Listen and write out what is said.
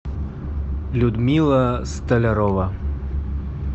людмила столярова